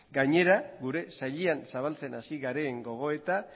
gainera gure sailean zabaltzen hasi garen gogoeta